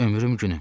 Ömrüm günüm.